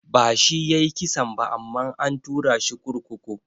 Ba shi yayi kisan ba amma an turashi kurkuku.